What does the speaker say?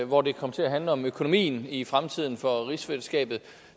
hvor det kom til at handle om økonomien i fremtiden for rigsfællesskabet